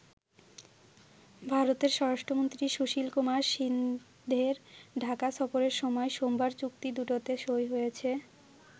ভারতের স্বরাষ্ট্রমন্ত্রী সুশীল কুমার সিন্ধের ঢাকা সফরের সময় সোমবার চুক্তি দুটোতে সই হয়েছে।